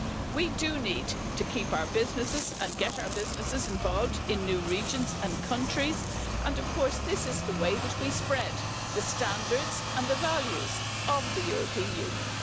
We do need to keep our businesses and get our businesses involved in new regions and countries, and of course this is the way that we spread the standards and the values of the European Union.